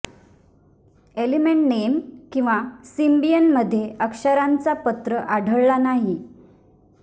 element name किंवा Symbian मध्ये अक्षरांचा पत्र आढळला नाही